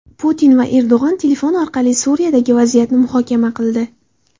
Putin va Erdo‘g‘on telefon orqali Suriyadagi vaziyatni muhokama qildi.